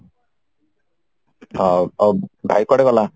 ଓ ଅ ଭାଇ କୁଆଡେ ଗଲା?